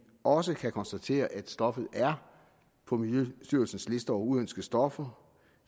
også kan konstatere at stoffet er på miljøstyrelsens liste over uønskede stoffer